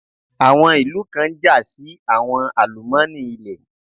Àwọn ìlú kan ń jà sí àwọn àlùmọ́ọ́nì ilẹ̀.